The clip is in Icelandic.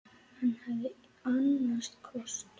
Hann hafði annan kost.